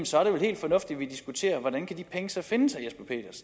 så er det vel helt fornuftigt at diskutere hvordan de penge så kan findes